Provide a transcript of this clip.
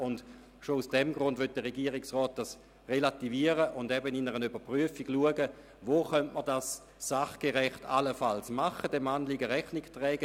Schon aus diesem Grund möchte der Regierungsrat diesen relativieren und im Rahmen einer Überprüfung schauen, wo man diesem Anliegen Rechnung tragen könnte.